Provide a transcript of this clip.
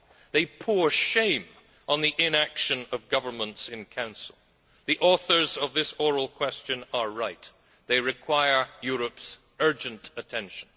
They pour shame on the inaction of governments in Council. The authors of this oral question are right they require Europe's urgent attention.